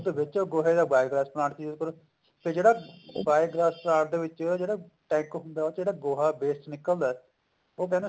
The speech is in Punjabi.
ਦੁੱਧ ਵੇਚੋ ਗੋਬਰ ਦਾ biogas plant use ਕਰੋ ਤੇ ਜਿਹੜਾ biogas plant ਦੇ ਵਿੱਚ ਜਿਹੜਾ ਗੋਹਾ waste ਨਿਕਲਦਾ ਉਹ